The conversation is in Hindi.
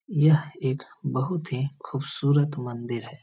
यह एक बहुत ही खुबसूरत मंदिर है।